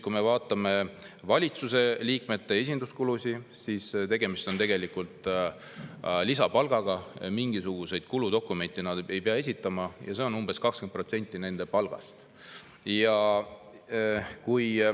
Kui me vaatame valitsuse liikmete esinduskulusid, siis tegemist on tegelikult lisapalgaga: mingisuguseid kuludokumente nad ei pea esitama ja on umbes 20% nende palgast.